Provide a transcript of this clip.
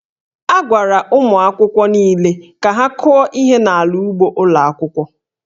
A gwara ụmụ akwụkwọ niile ka ha kụọ ihe n'ala ugbo ụlọ akwụkwọ